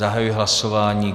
Zahajuji hlasování.